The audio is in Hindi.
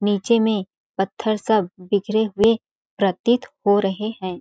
नीचें में पत्थर सब बिखरे हुए प्रतीत हो रहे है।